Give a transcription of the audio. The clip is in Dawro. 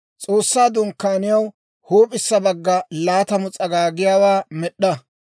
S'oossaa Dunkkaaniyaw huup'issa baggana, laatamu s'agaagiyaawaa med'd'a.